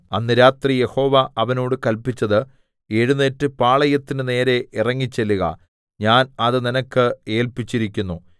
അന്ന് രാത്രി യഹോവ അവനോട് കല്പിച്ചത് എഴുന്നേറ്റ് പാളയത്തിന്റെ നേരെ ഇറങ്ങിച്ചെല്ലുക ഞാൻ അത് നിനക്ക് ഏല്പിച്ചിരിക്കുന്നു